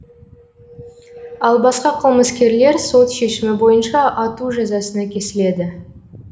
ал басқа қылмыскерлер сот шешімі бойынша ату жазасына кесіледі